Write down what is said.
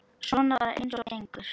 Svona bara eins og gengur.